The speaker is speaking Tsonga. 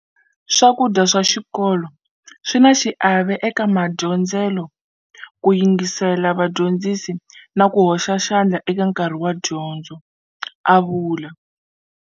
Swakudya swa xikolo swi na xiave eka madyondzelo, ku yingisela vadyondzisi na ku hoxa xandla hi nkarhi wa dyondzo, a vula.